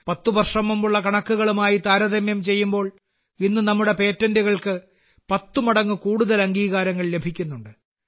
10 വർഷം മുമ്പുള്ള കണക്കുകളുമായി താരതമ്യം ചെയ്യുമ്പോൾ ഇന്ന് നമ്മുടെ പേറ്റന്റുകൾക്ക് 10 മടങ്ങ് കൂടുതൽ അംഗീകാരങ്ങൾ ലഭിക്കുന്നുണ്ട്